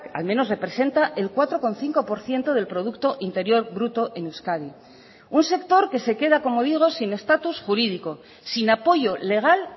al menos representa el cuatro coma cinco por ciento del producto interior bruto en euskadi un sector que se queda como digo sin estatus jurídico sin apoyo legal